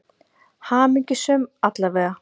Hamingjusöm, alla vega.